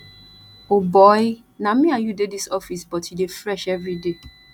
o boy na me and you dey dis office but you dey fresh everyday